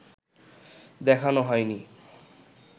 দেখানো হয়নি